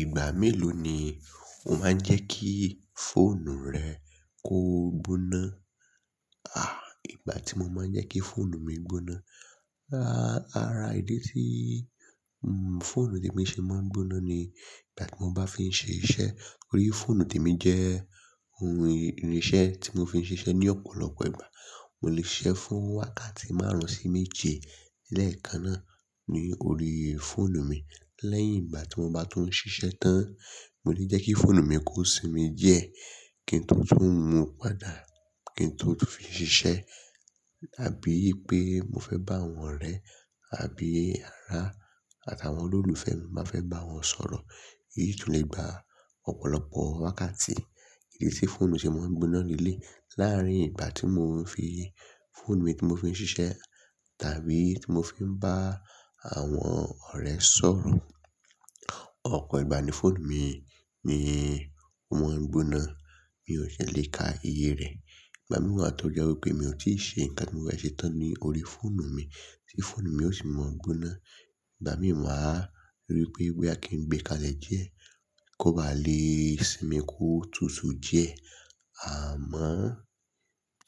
Ìgbà mélòó ni o máa ń jẹ́ kí fóònù rẹ kó gbóná? À, ìgbà tí mo máa ń jẹ́ kí fóònù mi gbóná, ara ìdí tí, n, fóònù tèmi ṣe máa ń gbóná ni ìgbà tí mo bá fi ń ṣe iṣẹ́. Orí fóònù tèmi jẹ́ ohun irinṣẹ́ tí mo fi ń ṣiṣẹ́ ní ọ̀pọ̀lọpọ̀ ìgbà. Mo lè ṣe fún wákàtí márùn-ún sí méje lẹ́ẹ̀kan náà ní orí fóònù mi. Lẹ́yìn ìgbà tí mo bá tún ń ṣiṣẹ́ tán, mo lè jẹ́ kí fóònù mi kó sinmi díẹ̀ kí n tún tún mu padà kí n tó tún fi ṣiṣẹ́. Àbí pé mo fẹ́ bá àwọn ọ̀rẹ́ àbí ará àtàwọn olólùfẹ́ mi, má fẹ́ bá wọn sọ̀rọ̀. Èyí tún nì ígba ọ̀pọ̀lọpọ̀ wákàtí. Ì tí fóònù ṣe máa ń gbóná nílé, láàárín ìgbà tí mò ń fi fóònù mi tí mo fi ń ṣiṣẹ́ tàbí tí mo fi ń bá àwọn ọ̀rẹ́ sọ̀rọ̀, ọ̀pọ̀ ìgbà ni fóònù mi, mi mò ń gbóná. Mi ò ṣe lè ka iye rẹ̀. Ìgbà míì wá tọ jẹ́ wípé mi ò tíì ṣe nǹkan tí mo fẹ́ ṣe tán ní orí fóònù mi tí fóònù mi ó sì máa ń gbóná. Ìgbà míì màa, rò pé bóyá kí n gbé e kalẹ̀ jẹ̀ kó ba lè sinmi kó tútù jẹ̀. Àmọ́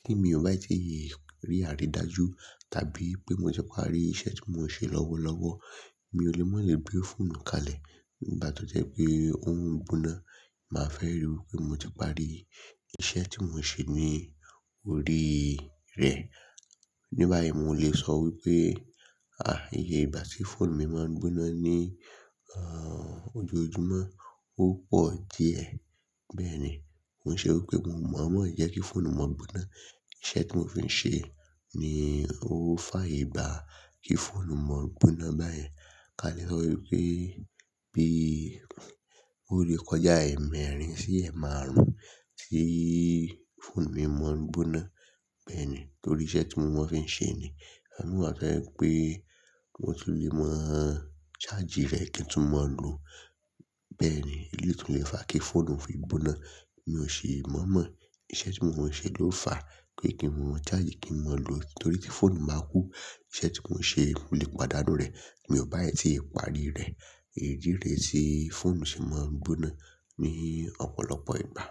tí mi ò bá tì rí- rí àrídájú tàbí pé mo ṣe parí iṣẹ́ tí mò ń ṣe lọ́wọ́lọ́wọ́, mi ò lè mọ̀ lé gbé fóònù kalẹ̀. Ìgbà tí ó jẹ́ pé ó ń gbóná, màá fẹ́ ríi wípé mo ti parí iṣẹ́ tí mò ń ṣe ní orí rẹ̀. Ní báyìí mò lè sọ wípé, à, ìye ìgbà tí fóònù mi máa ń gbóná ní, ẹ́, ojoojúmọ́ ó pọ̀ díẹ̀. Bẹ́ẹ̀ ni. N ó ṣe wípé mo máa ń mọ jẹ́ kí fóònù máa gbóná. Iṣẹ́ tí mò fi ń ṣe ni ó faye gbá kí fóònù máa gbóná báyen. Ka lè lero wípé bí ó lè kọjá ẹ̀ẹ̀mẹ́rin sí ẹ̀ẹ̀ márùn-ún tí fóònù mi máa ń gbóná. Bẹ́ẹ̀ ni. Nítorí iṣẹ́ tí mò ń ṣe ni. Ìgbà mìíràn wà bẹ́ wípé mò tún lè máa ń charge rẹ̀ kí n tún máa lò ó. Bẹ́ẹ̀ ni. Èyí tún lè fà kí fóònù fi gbóná. Mi ò ṣe mọ̀ mọ̀. Iṣẹ́ tí mò ń ṣe ló fà pe kí n tún máa charge kí n máa lò ó nítorí tí fóònù máa kú. Iṣẹ́ tí mò ń ṣe, mo lè pàdánù rẹ̀. Mi ò bá à tí ì parí rẹ̀. Èyí rè ti fóònù ṣe máa ń gbóná ní ọ̀pọ̀lọpọ̀ ìgbà.